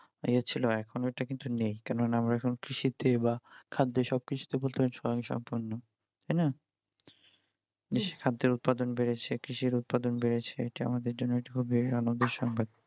ইয়ে ছিল এখন ওটা কিন্তু নেই কেননা আমরা এখন কৃষির দিকে বা খাদ্যের সবকিছুতে বলতে গেলে স্বয়ংসম্পূর্ণ তাই না? কৃষি খাদ্যের উৎপাদন বেড়েছে কৃষির উৎপাদন বেড়েছে এটা আমাদের জন্য খুবই আনন্দের সংবাদ